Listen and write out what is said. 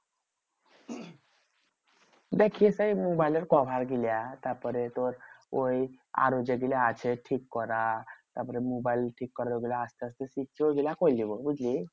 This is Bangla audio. দেখ ই সেই মোবাইলের cover গুলা তারপরে তোর ওই আরো যেগুলা আছে ঠিক করা তারপরে মোবাইল ঠিক করার ওগুলা আসতে আসতে শিখছি ওইগুলা হয়ে যাবো বুঝলি?